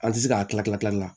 An ti se ka kila kila kilali la